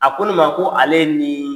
A ko ne ma ko: ale ye nin